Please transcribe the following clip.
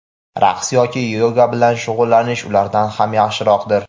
raqs yoki yoga bilan shug‘ullanish ulardan ham yaxshiroqdir.